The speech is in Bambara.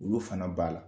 Olu fana b'a la